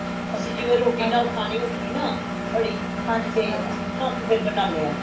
ਅੱਸੀ ਜਿਵੇਂ ਰੋਟੀ ਨਾਲ ਖਾਣੀ ਹੋਂਦੀ ਨਾ ਕੜੀ ਤੇ ਫਿਰ ਅਸੀਂ ਉਂਜ ਬਣਾਨੇ ਹਾਂ